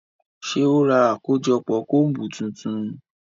Ṣe o rá akojọpọ combu tuntun?